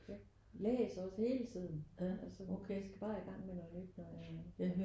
Jeg læser også hele tiden altså jeg skal bare i gang med noget nyt når jeg